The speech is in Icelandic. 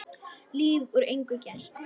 Líf úr engu gert.